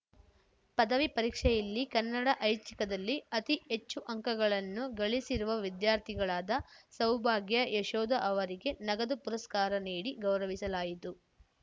ಪದವಿ ಪರೀಕ್ಷೆಯಲ್ಲಿ ಕನ್ನಡ ಐಚ್ಛಿಕದಲ್ಲಿ ಅತಿ ಹೆಚ್ಚು ಅಂಕಗಳನ್ನು ಗಳಿಸಿರುವ ವಿದ್ಯಾರ್ಥಿಗಳಾದ ಸೌಭಾಗ್ಯ ಯಶೋಧ ಅವರಿಗೆ ನಗದು ಪುರಸ್ಕಾರ ನೀಡಿ ಗೌರವಿಸಲಾಯಿತು